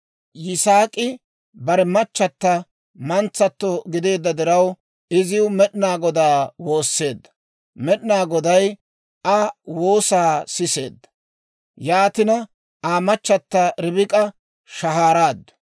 Yisaak'i bare machata mantsato gideedda diraw, iziw Med'inaa Godaa woosseedda; Med'inaa Goday Aa woosaa siseedda. Yaatina Aa machata Ribik'a shahaaraaddu.